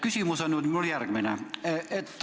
Küsimus on mul järgmine.